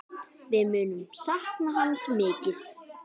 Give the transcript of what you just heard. Við munum sakna hans mikið.